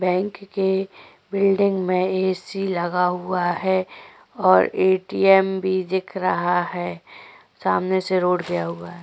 Bank के building में AC लगा हुआ है और एटीएम भी दिख रहा है सामने से रोड गया हुआ है।